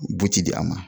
Butidi a ma